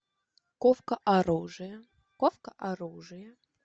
ковка оружия ковка оружия